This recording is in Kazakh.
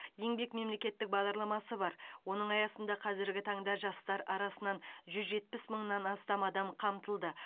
еңбек мемлекеттік бағдарламасы бар оның аясында қазіргі таңда жастар арасынан жүз жетпіс мыңнан астам адам қамтылды